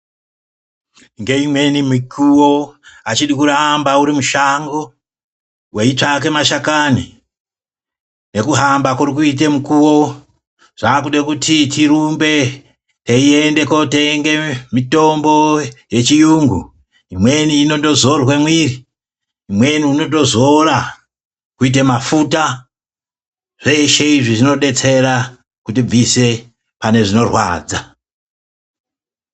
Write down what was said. Ngeimweni mikuwo azvidi kuramba uri mushango weitsvake mashakani ,ngekuhamba kuri kuite mukuwo zvaakuda kuti tirumbe teindotenga mitombo yechiyungu imweni inondozorwa miri, imweni inozorwa kuita mafuta, zveshe izvi zvinodetsera kuti tibvise pane zvinorwadza.